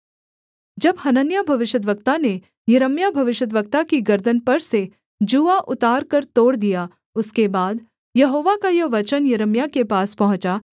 जब हनन्याह भविष्यद्वक्ता ने यिर्मयाह भविष्यद्वक्ता की गर्दन पर से जूआ उतारकर तोड़ दिया उसके बाद यहोवा का यह वचन यिर्मयाह के पास पहुँचा